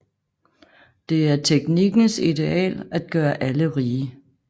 Det er teknikkens ideal at gøre alle rige